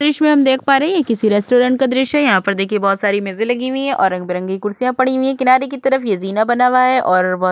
दृश्य में हम देख पा रहे हैं ये किसी रेस्टोरेंट का दृश्य है यहां पर देखिए बहुत सारी मेजे लगी हुई हैं और रंग बिरंगी कुर्सिया पड़ी हुई किनारे की तरफ ये जीना बना हुआ है और बहुत --